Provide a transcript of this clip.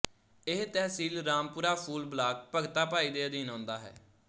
ਇਹ ਤਹਿਸੀਲ ਰਾਮਪੁਰਾ ਫੂਲ ਬਲਾਕ ਭਗਤਾ ਭਾਈ ਦੇ ਅਧੀਨ ਆਉਂਦਾ ਹੈ